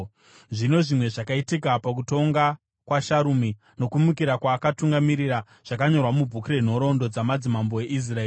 Zvino zvimwe zvakaitika pakutonga kwaSharumi, nokumukira kwaakatungamirira, zvakanyorwa mubhuku renhoroondo dzamadzimambo eIsraeri.